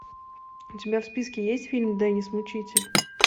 у тебя в списке есть фильм деннис мучитель